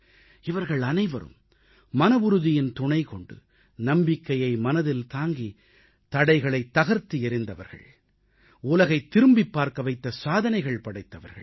இவர்கள் அனைவரும் மனவுறுதியின் துணைக்கொண்டு நம்பிக்கையை மனதில் தாங்கித் தடைகளைத் தகர்த்து எறிந்தவர்கள் உலகைத் திரும்பிப் பார்க்க வைத்த சாதனைகள் படைத்தவர்கள்